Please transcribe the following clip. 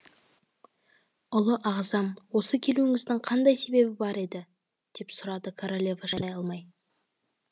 ұлы ағзам осы келуіңіздің қандай себебі бар еді деп сұрады королева шыдай алмай